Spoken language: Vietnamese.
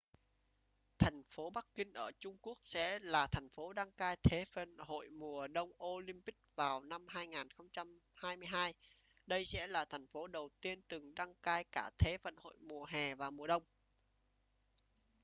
thành phố bắc kinh ở trung quốc sẽ là thành phố đăng cai thế vận hội mùa đông olympic vào năm 2022 đây sẽ là thành phố đầu tiên từng đăng cai cả thế vận hội mùa hè và mùa đông